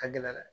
A gɛlɛyara dɛ